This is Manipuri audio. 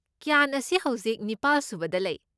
ꯀ꯭ꯌꯥꯟ ꯑꯁꯤ ꯍꯧꯖꯤꯛ ꯅꯤꯄꯥꯜ ꯁꯨꯕꯗ ꯂꯩ꯫